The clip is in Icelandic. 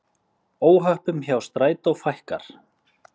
Óhöppum hjá Strætó fækkar